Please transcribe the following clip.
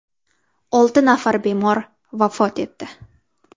Olti nafar bemor vafot etdi.